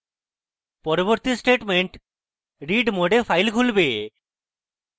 পরবর্তী statement read mode file খুলবে